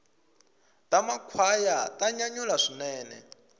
ta makhwaya ta nyanyula swinene